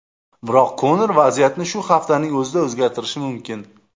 Biroq Konor vaziyatni shu haftaning o‘zida o‘zgartirishi mumkin.